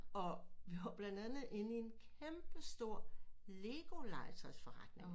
Og vi var blandt andet inde i en kæmpe stor LEGO legetøjsforretning